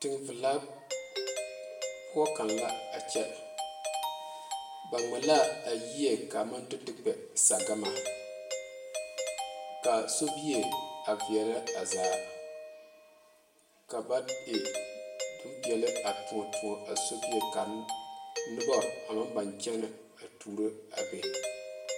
Teŋ valaa poɔ kaŋa la a kyɛ ba ŋmaa la a yie kaa maŋ do te kpɛ sagbama kaa sobie a vaɛle a zaa ka ba e bonpeɛle a toɔ toɔ a sobie ka noba a maŋ boŋ kyɛne a tuuro a be.